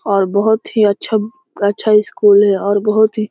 और बहुत ही अच्छा अच्छा स्कूल है और बहुत ही --